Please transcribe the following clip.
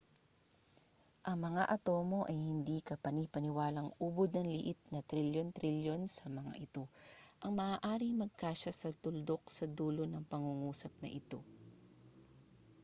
ang mga atomo ay hindi kapani-paniwalang ubod ng liit na trilyon-trilyon sa mga ito ang maaaring magkasya sa tuldok sa dulo ng pangungusap na ito